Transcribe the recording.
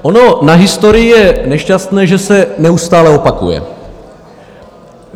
Ono na historii je nešťastné, že se neustále opakuje.